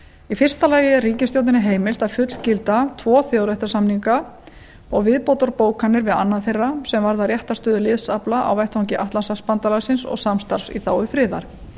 í fyrsta lagi er ríkisstjórninni heimilt að fullgilda tvo þjóðréttarsamninga og viðbótarbókanir við annan þeirra sem varðar réttarstöðu liðsafla á vettvangi atlantshafsbandalagsins og samstarfs í þágu friðar